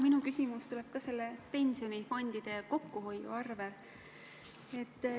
Minu küsimus tuleb ka pensionifondide kokkuhoiu kohta.